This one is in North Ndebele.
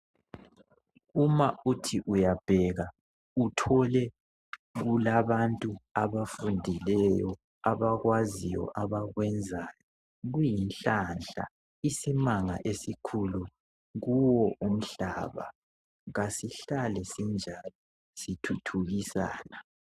Uma uthi uyabheka uthole ukuthi kulabantu abafundileyo abakwaziyo abakwenzayo kuyinhlanhla, isimanga esikhulu kuwo umhlaba kasihlale sinjalo sithuthukisana.